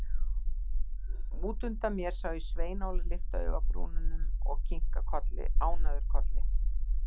Út undan mér sá ég Svein Óla lyfta augabrúnunum og kinka ánægður kolli.